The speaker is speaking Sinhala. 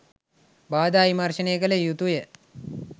බාධා විමර්ශනය කළ යුතුය.